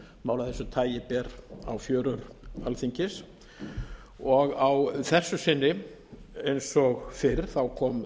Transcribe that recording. af þessu tagi ber á fjörur alþingis á þessu sinni eins og fyrr kom